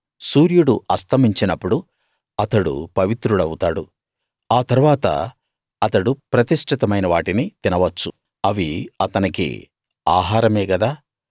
సూర్యుడు అస్తమించినప్పుడు అతడు పవిత్రుడౌతాడు ఆ తరువాత అతడు ప్రతిష్ఠితమైన వాటిని తినవచ్చు అవి అతనికి ఆహారమే గదా